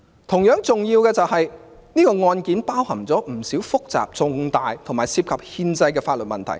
同樣重要的是，這宗案件包含不少複雜、重大和涉及憲法的法律問題。